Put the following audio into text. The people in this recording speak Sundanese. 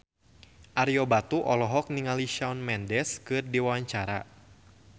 Ario Batu olohok ningali Shawn Mendes keur diwawancara